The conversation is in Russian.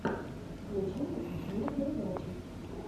включи мне смешные передачи